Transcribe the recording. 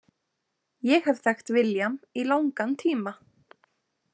Ég hef þekkt William í langan tíma.